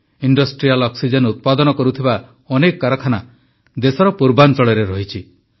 industrial oxygen ଉତ୍ପାଦନ କରୁଥିବା ଅନେକ କାରଖାନା ଦେଶର ପୂର୍ବାଞ୍ଚଳରେ ରହିଛି